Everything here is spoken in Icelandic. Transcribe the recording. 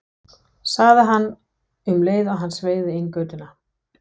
sagði hann um leið og hann sveigði inn í götuna.